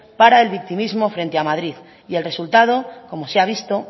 para el victimismo frente a madrid y el resultado como se ha visto